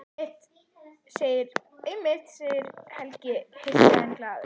Einmitt, segir Helgi hissa en glaður.